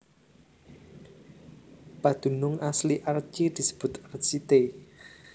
Padunung asli Archi disebut Archite